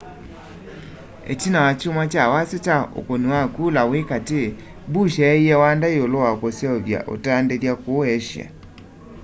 itina wa kyumwa kya wasyo kwa ukuni wa kula wi kati bush eeie wanda yiulu wa kuseuvya utandithya kuu asia